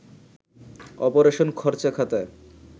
operation খরচাখাতায়